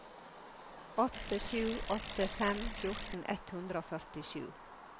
åtte sju åtte fem fjorten ett hundre og førtisju